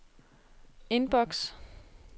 indboks